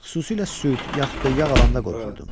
Xüsusilə süd, yaxud da yağ alanda qorxurdum.